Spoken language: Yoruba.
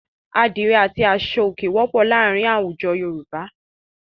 Àdìrẹ́ àti aṣọòkè wọ́pọ̀ láàárin láwùjọ àwọn.